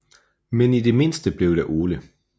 Men i det mindste blev der Ole